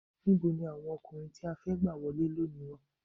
Níboni àwọn ọkùnrin tí a fẹ́ gbà wọlé lónìí wà?